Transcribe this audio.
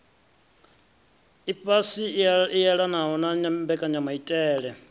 ifhasi i elanaho na mbekanyamaitele